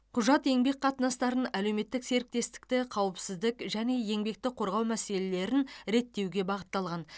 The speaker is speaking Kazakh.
құжат еңбек қатынастарын әлеуметтік серіктестікті қауіпсіздік және еңбекті қорғау мәселелерін реттеуге бағытталған